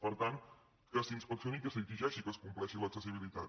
per tant que s’inspeccioni i que s’exigeixi que es compleixi l’accessibilitat